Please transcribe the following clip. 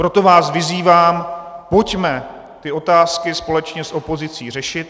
Proto vás vyzývám, pojďme ty otázky společně s opozicí řešit.